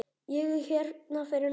Ég er hérna fyrir norðan.